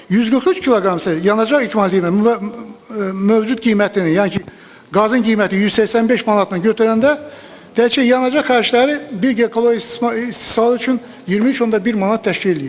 143 kq isə yanacaq ekvivalenti ilə mövcud qiymətini, yəni qazın qiyməti 185 manatla götürəndə təkcə yanacaq xərcləri bir giqakalori istismarı üçün 23.1 manat təşkil eləyir.